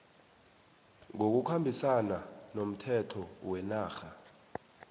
ngokukhambisana nomthetho wenarha